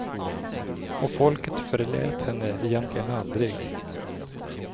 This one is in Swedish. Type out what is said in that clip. Och folket förlät henne egentligen aldrig.